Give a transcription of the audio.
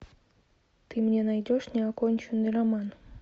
ты мне найдешь неоконченный роман